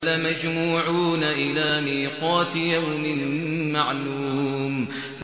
لَمَجْمُوعُونَ إِلَىٰ مِيقَاتِ يَوْمٍ مَّعْلُومٍ